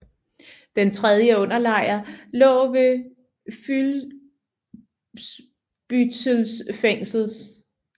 Den tredje underlejr lå ved Fuhlsbüttels fængsel